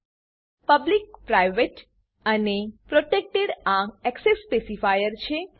public public private private અને protected protected આ access specifier છે